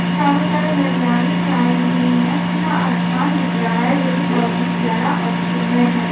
चारों तरफ हरियाली छाई हुई है खुला आसमान दिख रहा है जो की बहुत ही प्यारा और सुंदर है।